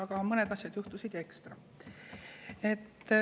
Aga mõned asjad juhtusid ekstra.